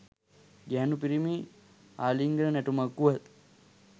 ගැහැණු පිරිමි ආලිංගන නැටුමක් වුවත්